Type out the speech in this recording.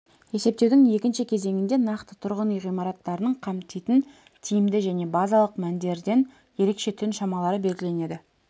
есептеудің екінші кезеңінде нақты тұрғын үй ғимараттарының қамтитын тиімді және базалық мәндерден ерекше түн шамалары белгіленеді